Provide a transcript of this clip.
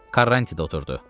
Karranti də oturdu.